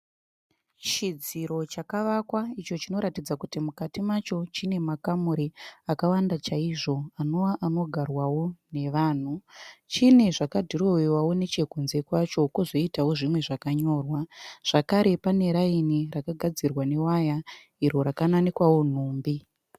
Chidziro chakavakwa icho chinoratidza kuti mukati macho chine makamuri akawanda chaizvo anove anogarwawo nevanhu. Chine zvaka dhirowewavo nechekunze kwacho kozoitawo zvimwe zvakanyorwa. Zvakare pane raini rakagadzirwa newaya iro raka nanikwawo nhumbi.